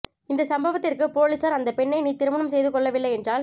இந்த சம்பவத்திற்கு பொலிஸார் அந்த பெண்ணை நீ திருமணம் செய்து கொள்ளவில்லை என்றால்